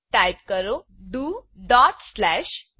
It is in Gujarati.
ટાઈપ કરો ડોટ સ્લેશ ડીઓ